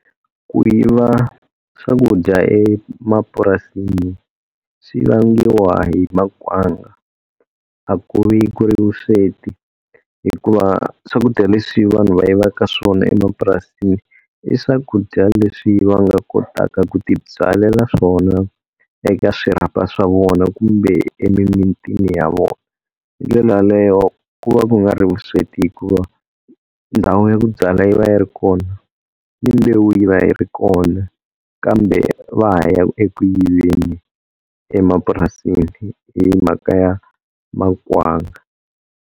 Ku yiva swakudya emapurasini swi vangiwa hi makwanga, a ku vi ku ri vusweti. Hikuva swakudya leswi vanhu va yivaka swona emapurasini i swakudya leswi va nga kotaka ku tibyalela swona eka swirhapa swa vona kumbe emimitini ya vona. Hindlela yaleyo ku va ku nga ri vusweti hikuva ndhawu ya ku byala yi va yi ri kona, ni mbewu yi va yi ri kona kambe va ha ya eku yiveni emapurasini hi mhaka ya makwanga.